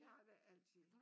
De har da altid